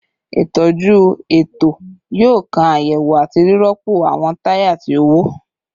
Itọju eto yoo kan ayewo ati rirọpo awọn taya ti o wọ